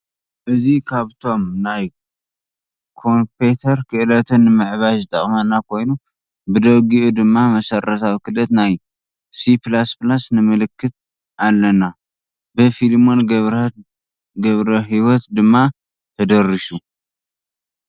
እዚ ካብቶም ናይ ኮንፔተር ክእለትና ንምዕባይ ዝጠቅመና ኮይኑ ብደጊኡ ድማ መሰረታዊ ክእለት ናይ C++ ንምልከት ኣለና። ብ ፊሊሞን ገብረ ሂወት ድማ ተደሪሱ።